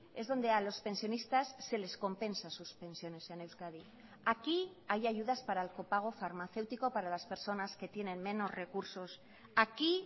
es donde a los pensionistas se les compensa sus pensiones en euskadi aquí hay ayudas para el copago farmacéutico para las personas que tienen menos recursos aquí